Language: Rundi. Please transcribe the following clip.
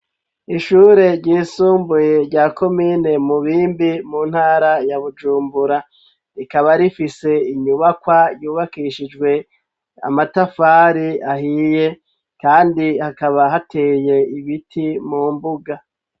Ishure ry'isumbuye rya komine mu bimbi mu ntara ya bujumbura rikaba rifise inyubakwa yubakishijwe amatafari ahiye kandi hakaba hateye ibiti mu mbuga.